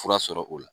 Fura sɔrɔ o la